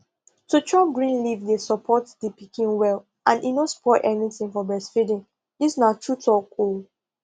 to chop green leaf dey support the pikin well and e no spoil anything for breastfeeding dis na true talk o